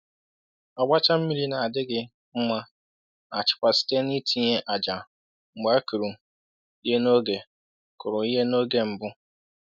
“Ọgbacha mmiri na-adịghị mma na-achịkwa site n’itinye ájá mgbe e kụrụ ihe n’oge kụrụ ihe n’oge mbụ.”